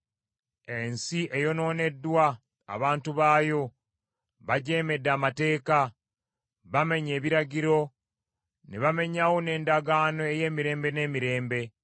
Ensi eyonooneddwa abantu baayo, bajeemedde amateeka, bamenye ebiragiro, ne bamenyawo n’endagaano ey’emirembe n’emirembe.